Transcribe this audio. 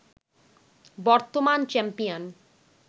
বর্তমান চ্যাম্পিয়ন